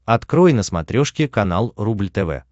открой на смотрешке канал рубль тв